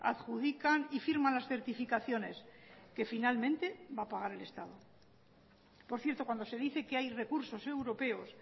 adjudican y firman las certificaciones que finalmente va a pagar el estado por cierto cuando se dice que hay recursos europeos